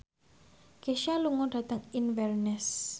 Kesha lunga dhateng Inverness